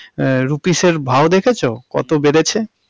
আহ rupees এর ভাও দেখেছো? কত বেড়েছে।